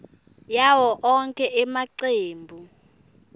yawo onkhe emacembu